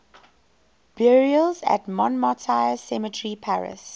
burials at montmartre cemetery paris